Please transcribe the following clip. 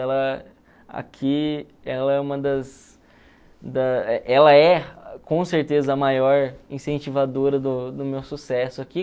Ela, aqui, ela é uma das... ãh... Ela é, com certeza, a maior incentivadora do meu sucesso aqui.